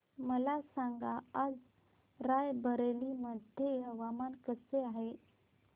मला सांगा आज राय बरेली मध्ये हवामान कसे आहे